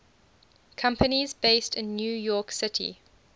companies based in new york city